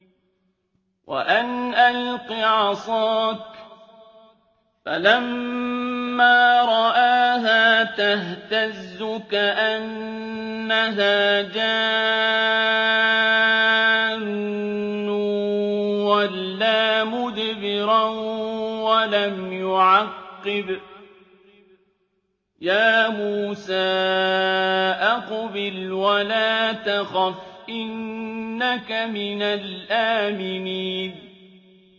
وَأَنْ أَلْقِ عَصَاكَ ۖ فَلَمَّا رَآهَا تَهْتَزُّ كَأَنَّهَا جَانٌّ وَلَّىٰ مُدْبِرًا وَلَمْ يُعَقِّبْ ۚ يَا مُوسَىٰ أَقْبِلْ وَلَا تَخَفْ ۖ إِنَّكَ مِنَ الْآمِنِينَ